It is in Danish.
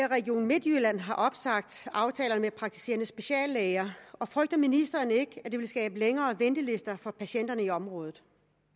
at region midtjylland har opsagt aftalerne med praktiserende speciallæger og frygter ministeren ikke at det vil skabe længere ventelister for patienterne i området